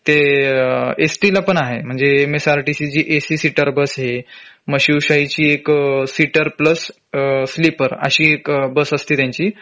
ते S T ला पण आहे म्हंजे MSRTC ची जी AC सीटर बस आहे मग शिवशाही ची एक सीटर प्लस अ स्लीपर अशी एक बस असते त्यांची